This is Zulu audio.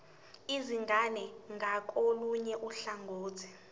izingane ngakolunye uhlangothi